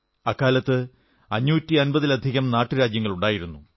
അക്കാലത്ത് 550 ലധികം നാട്ടുരാജ്യങ്ങളുണ്ടായിരുന്നു